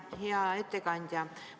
Hea ettekandja!